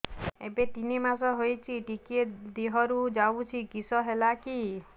ଏବେ ତିନ୍ ମାସ ହେଇଛି ଟିକିଏ ଦିହରୁ ଯାଉଛି କିଶ ହେଲାକି